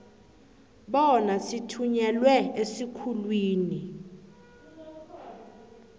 bona zithunyelwe esikhulwini